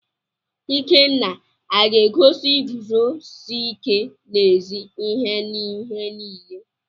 Ikenna aga-egosi iguzosi ike n'ezi ihe n'ihe niile?